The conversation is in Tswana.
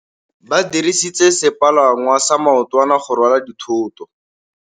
Ba dirisitse sepalangwasa maotwana go rwala dithôtô.